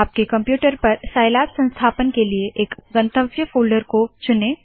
आपके कंप्यूटर पर साइलैब संस्थापन के लिए एक गंतव्य फोल्डर को चुने